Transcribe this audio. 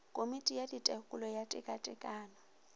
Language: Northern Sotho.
komiti ya tekolo ya tekatekano